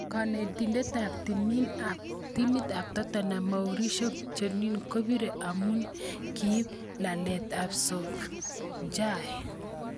Kanetindet ab timit ab Tottenham Mauricio Pochettino kebire amu kiib laaleet ab Solskjaer.